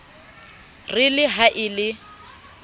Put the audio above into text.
re le ha e le